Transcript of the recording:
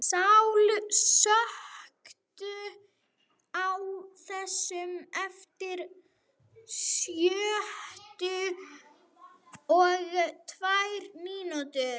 Sál, slökktu á þessu eftir sjötíu og tvær mínútur.